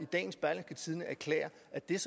er